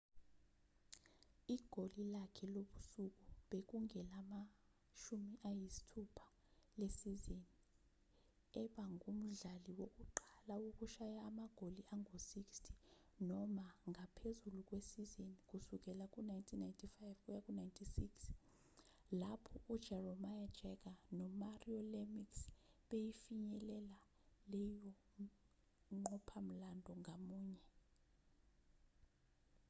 igoli lakhe lobusuku bekungelama-60 lesizini eba ngumdlali wokuqala wokushaya amagoli angu-60 noma ngaphezulu ngesizini kusukela ngo-1995-96 lapho ujaromir jagr nomario lemieux befinyelela leyonqophamlando ngamunye